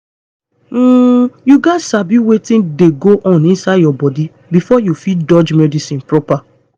um you gats sabi wetin dey go on inside your body before you fit dodge medicine proper